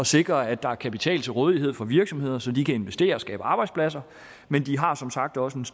sikre at der er kapital til rådighed for virksomheder så de kan investere og skabe arbejdspladser men de har som sagt også et